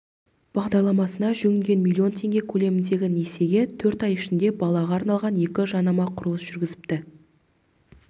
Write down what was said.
бағдарламасына жүгінген млн теңге көлеміндегі несиеге төрт ай ішінде балаға арналған екі жанама құрылыс жүргізіпті